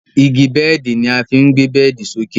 Igi bẹ́ẹ̀di ni a fí ń gbé bẹ́ẹ̀di sókè.